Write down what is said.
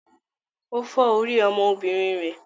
Ó fọ́ orí ọmọọbìnrin rẹ̀?